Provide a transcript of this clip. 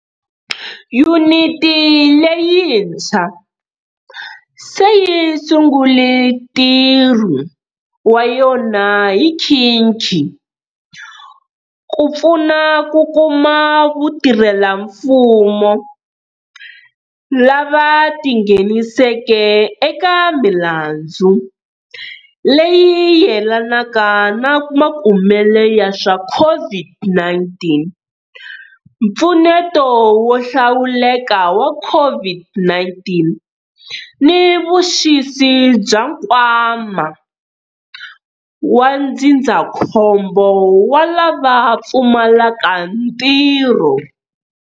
Yuniti leyitshwa se yi sungule ntirho wa yona hi nkhikhi, ku pfuna ku kuma vatirhelamfumo lava ti ngheniseke eka milandzu leyi yelanaka ni makumele ya swa COVID-19, mpfuneto wo hlawuleka wa COVID-19 ni vuxisi bya Nkwama wa Ndzindzakhombo wa lava Pfumalaka Ntirho.